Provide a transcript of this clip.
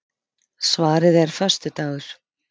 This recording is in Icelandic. Svarið er föstudagur.